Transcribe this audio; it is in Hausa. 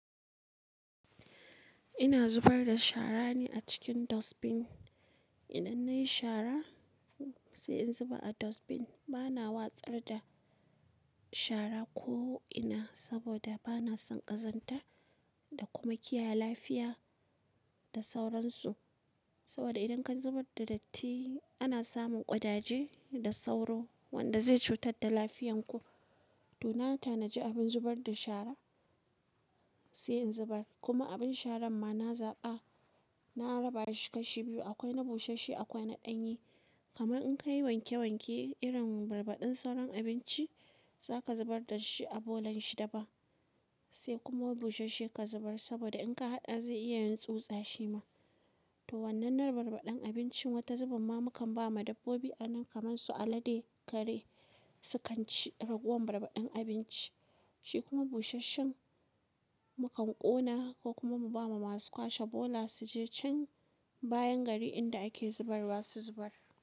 Ina zubar da shara ne a cikin dustbin. Idan nayi shara sai in zuba a dustbin. Bana watsar da shara ko ina saboda bana son ƙazanta da kuma kiyaye lafiya da sauransu. Saboda idan ka zubar da datti ana samun ƙudaje da sauro wanda zai cutar da lafiyan ku. To nan ta na ji abin zubar da shara sai in zubar. Kuma abin sharan ma na zaɓa, na raba shi kashi biyu akwai na bushashshi akwai na ɗanye. Kamar in ka yi wanke wanke irin barbaɗin sauran abinci za ka zubar da shi a bolan shi daban sai kuma bushashshi ka zubar saboda in ka haɗa zai iya yin tsutsa shi ma. To wannan na barbaɗin abincin wata zubar ma mukan ba ma dabbobi anan kamar su alade, kare sukan ci ragowar barbaɗin abinci, shi kuma busasshen mukan ƙona ko kuma mu ba ma masu kwashe bola su je can bayan gari inda ake zubarwa su zubar.